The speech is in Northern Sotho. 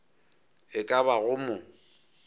e ka ba go mo